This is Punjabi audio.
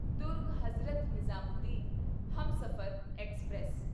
ਦੁਰਗ ਹਜ਼ਰਤ ਨਿਜ਼ਾਮੂਦੀਨ ਹਮਸਫ਼ਰ ਐਕਸਪ੍ਰੈਸ